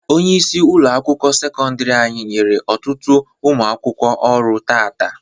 Onyeisi ụlọ akwụkwọ sekọndiri anyị nyere ọtụtụ ụmụ akwụkwọ ọrụ taata.